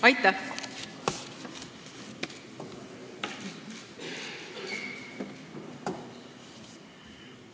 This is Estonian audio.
Aitäh!